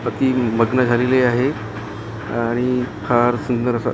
अती मग्न झालेले आहे आणि फार सुंदर असं--